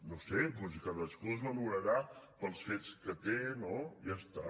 no ho sé doncs cadascú es valorarà pels fets que té no ja està